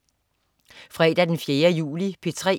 Fredag den 4. juli - P3: